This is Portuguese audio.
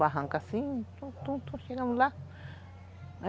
Barranco assim, tom, tom, tom, chegamos lá.